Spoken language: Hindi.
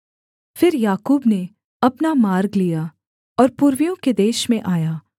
फिर याकूब ने अपना मार्ग लिया और पूर्वियों के देश में आया